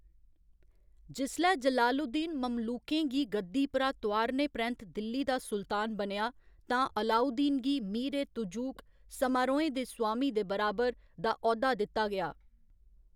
जिसलै जलालुद्दीन ममलूकें गी गद्दी परा तोआरने परैंत्त दिल्ली दा सुल्तान बनेआ, तां अलाउद्दीन गी मीर ए तुजूक, समारोहें दे स्वामी दे बराबर, दा औह्‌दा दित्ता गेआ।